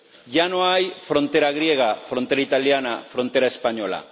Ya no hay frontera griega, frontera italiana, frontera española.